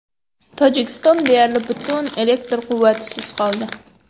Tojikiston deyarli butunlay elektr quvvatisiz qoldi.